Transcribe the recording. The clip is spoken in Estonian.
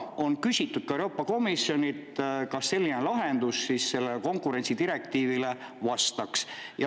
On küsitud ka Euroopa Komisjonilt, kas selline lahendus sellele konkurentsidirektiivile vastaks.